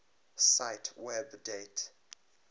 cite web date